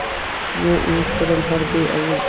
जो एक सरल हृदय और